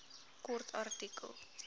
kort artikel